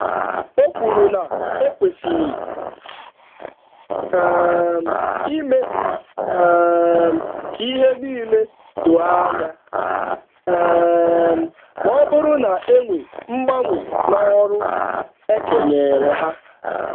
Okwuru na ekwesịrị um ime um k'ihe nile doo ányá, um mọbụrụ na enwee mgbanwe n'ọrụ e kenyeere ha